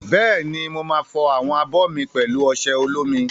Bẹ́ẹ̀ni, mo máa fọ àwọn abọ́ mi pẹ̀lú ọṣẹ olómi.